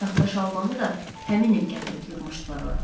Taxta şalbanı da həmin il gətirib yığmışdılar ora.